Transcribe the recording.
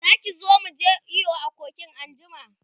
Zaki zo muje iyo a kogin anjima?